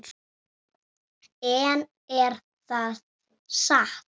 En er það satt?